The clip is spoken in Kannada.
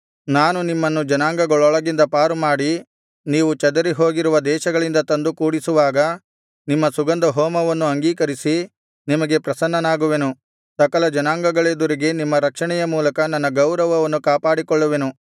ನಾನು ನಿಮ್ಮನ್ನು ಜನಾಂಗಗಳೊಳಗಿಂದ ಪಾರುಮಾಡಿ ನೀವು ಚದರಿಹೋಗಿರುವ ದೇಶಗಳಿಂದ ತಂದು ಕೂಡಿಸುವಾಗ ನಿಮ್ಮ ಸುಗಂಧಹೋಮವನ್ನು ಅಂಗೀಕರಿಸಿ ನಿಮಗೆ ಪ್ರಸನ್ನನಾಗುವೆನು ಸಕಲ ಜನಾಂಗಗಳೆದುರಿಗೆ ನಿಮ್ಮ ರಕ್ಷಣೆಯ ಮೂಲಕ ನನ್ನ ಗೌರವವನ್ನು ಕಾಪಾಡಿಕೊಳ್ಳುವೆನು